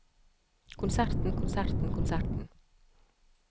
konserten konserten konserten